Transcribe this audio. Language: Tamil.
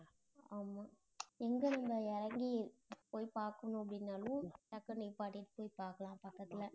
ஆமா எங்க நம்ப இறங்கி போய் பார்க்கணும் அப்படின்னாலும், டக்குன்னு நிப்பாட்டிட்டு போய் பார்க்கலாம் பக்கத்துல